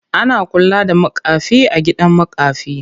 Ana kula da makafi a gidan makafi.